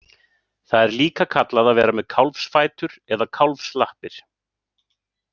Það er líka kallað að vera með kálfsfætur eða kálfslappir.